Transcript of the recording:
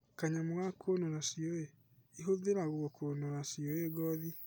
Kanyamu ga kũnũra ciũi: Igũthĩragwo kũnũra ciũi ngothi.